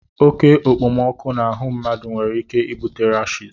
Oke okpomọkụ n'ahụ mmadụ nwere ike ibute rashis